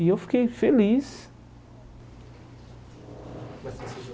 E eu fiquei feliz.